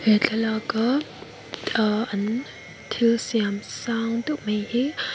he thlalaka ahh an thilsiam sang deuh mai hi --